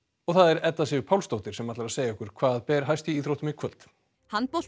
Edda Sif Pálsdóttir ætlar að segja okkur hvað ber hæst í íþróttum í kvöld